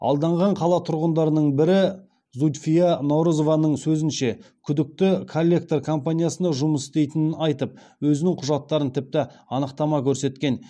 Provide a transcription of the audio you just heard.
алданған қала тұрғындарының бірі зудьфия наурызованың сөзінше күдікті коллектор компаниясында жұмыс істейтінін айтып өзінің құжаттарын тіпті анықтама көрсеткен